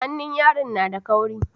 Hannun yaron na da kauri